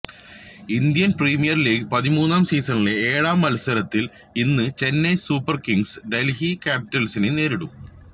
Indian Premier League പതിമൂന്നാം സീസണിലെ ഏഴാം മത്സരത്തിൽ ഇന്ന് ചെന്നൈ സൂപ്പർ കിംഗ്സ് ഡെൽഹി ക്യാപിറ്റൽസിനെ നേരിടും